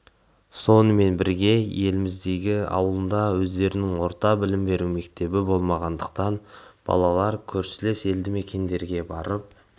сонымен бірге еліміздегі ауылында өздерінің орта білім беру мектебі болмағандықтан балалар көршілес елді мекендерге барып